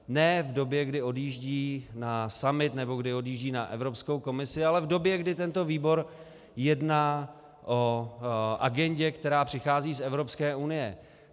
Ne v době, kdy odjíždí na summit nebo kdy odjíždí na Evropskou komisi, ale v době, kdy tento výbor jedná o agendě, která přichází z Evropské unie.